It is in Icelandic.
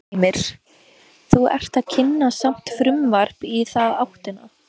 Heimir: Þú ert að kynna samt frumvarp í þá áttina?